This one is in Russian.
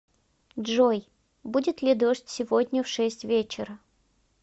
джой будет ли дождь сегодня в шесть вечера